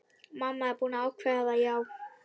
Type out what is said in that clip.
Mamma er búin að ákveða það, já.